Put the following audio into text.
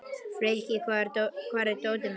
Frikki, hvar er dótið mitt?